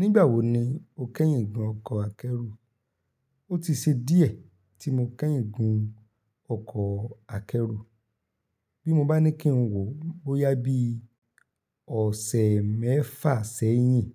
Nígbà wo ni o kẹ́yìn gun ọkọ̀ akẹ́rù? Ó ti ṣe díẹ̀ tí mo kẹ́yìn gun ọkọ̀ akẹ́rù. Bí mo bá ní kí n wò bóyá bí ọ̀sẹ̀ mẹ́fà sẹ́yìn.